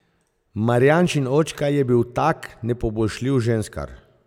Marjančin očka je bil tak nepoboljšljiv ženskar.